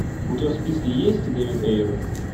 у тебя в списке есть дэвид эйр